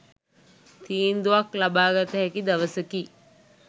තීන්දුවක් ලබාගත හැකි දවසකි